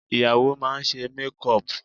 Ìyàwó máa ṣe mékùpù